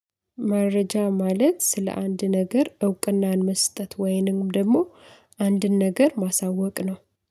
መረጃ ማለት ስለ አንድ ነገር እውቅናን መስጠት ወይንም ደግሞ አንድን ነገር ማሳወቅ ነው።